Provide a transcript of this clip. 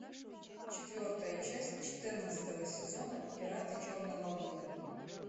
четвертая часть четырнадцатого сезона пираты черной лагуны